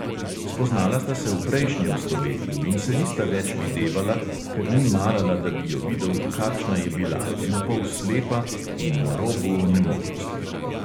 Spoznala sta se v prejšnjem stoletju in se nista več videvala, ker ni marala, da bi jo videl, kakšna je bila, napol slepa in na robu onemoglosti.